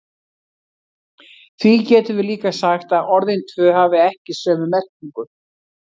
Því getum við líka sagt að orðin tvö hafi ekki sömu merkingu.